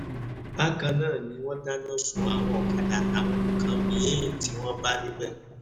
bákan náà ni wọ́n dáná sun àwọn ọ̀kadà àtàwọn nǹkan mí-ín tí wọ́n bá níbẹ̀